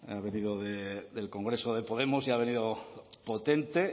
ha venido del congreso de podemos y ha venido potente